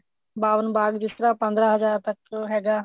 ਬਾਵਨ ਬਾਗ ਜਿਸ ਤਰ੍ਹਾਂ ਪੰਦਰਾ ਹਜ਼ਾਰ ਤੱਕ ਹੈਗਾ